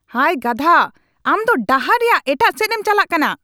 ᱦᱟᱭ, ᱜᱟᱫᱷᱟ ᱾ ᱟᱢ ᱫᱚ ᱰᱟᱦᱟᱨ ᱨᱮᱭᱟᱜ ᱮᱴᱟᱜ ᱥᱮᱡᱽᱮᱢ ᱪᱟᱞᱟᱜ ᱠᱟᱱᱟ ᱾